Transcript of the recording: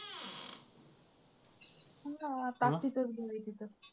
ताकतीचाच आहे तिथं.